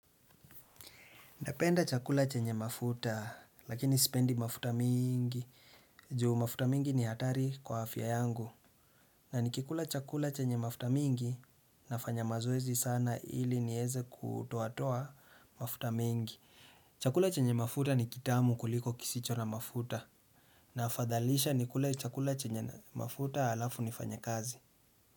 Napenda chakula chenye mafuta, lakini sipendi mafuta mingi, juu mafuta mingi ni hatari kwa afya yangu. Na ni kikula chakula chenye mafuta mingi, nafanya mazoezi sana ili niweze kutoatoa mafuta mengi. Chakula chenye mafuta ni kitamu kuliko kisicho na mafuta. Na afadhalisha nikule chakula chenye mafuta halafu nifanye kazi.